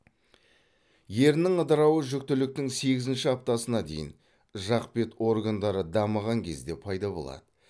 еріннің ыдырауы жүктіліктің сегізінші аптасына дейін жақ бет органдары дамыған кезде пайда болады